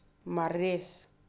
Mar res?